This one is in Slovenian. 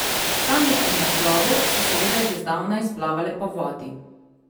Sanje o naslovu so seveda že zdavnaj splavale po vodi.